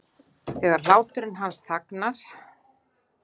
Þegar hláturinn hans þagnar.